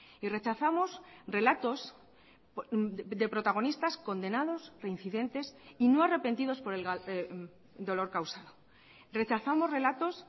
y rechazamos relatos de protagonistas condenados reincidentes y no arrepentidos por el dolor causado rechazamos relatos